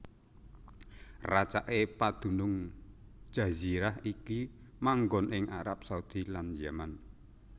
Racaké padunung jazirah iki manggon ing Arab Saudi lan Yaman